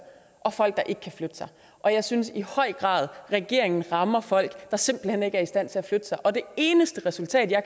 og folk der ikke kan flytte sig og jeg synes i høj grad at regeringen rammer folk der simpelt hen ikke er i stand til at flytte sig og det eneste resultat jeg